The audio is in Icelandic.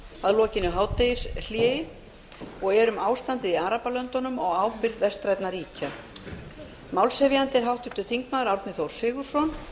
fer fram síðari umræða utan dagskrár um ástandið í arabalöndum og ábyrgð vestrænna ríkja málshefjandi er háttvirtur þingmaður árni þór sigurðsson